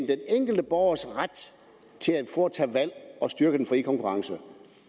den enkelte borgers ret til at foretage et valg og styrke den frie konkurrence